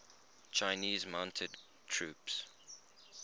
chinese mounted troops